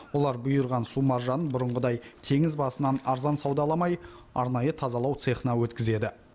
олар бұйырған су маржанын бұрынғыдай теңіз басынан арзан саудаламай арнайы тазалау цехына өткізеді